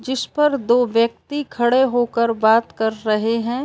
जिस पर दो व्यक्ति खड़े हो कर बात कर रहे हैं।